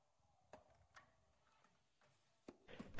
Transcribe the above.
फिर से chart पर click करें